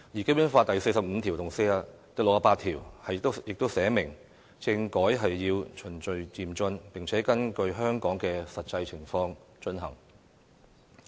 《基本法》第四十五條和第六十八條亦訂明政改要循序漸進，並且根據香港的實際情況進行。